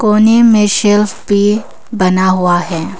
कोने में शेल्फ भी बना हुआ है।